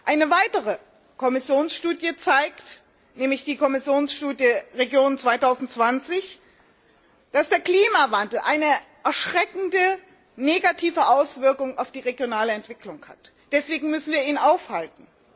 Eine weitere Kommissionsstudie nämlich die Kommissionsstudie Regionen 2020 zeigt, dass der Klimawandel eine erschreckende, negative Auswirkung auf die regionale Entwicklung hat. Deswegen müssen wir ihn aufhalten.